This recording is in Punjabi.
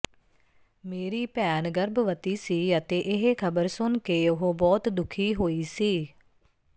ਮੇਰੀ ਭੈਣ ਗਰਭਵਤੀ ਸੀ ਅਤੇ ਇਹ ਖ਼ਬਰ ਸੁਣ ਕੇ ਉਹ ਬਹੁਤ ਦੁੱਖੀ ਹੋਈ ਸੀ